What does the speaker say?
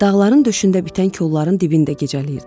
Dağların döşündə bitən kolların dibində gecələyirdilər.